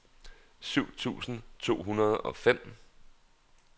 syv tusind to hundrede og fem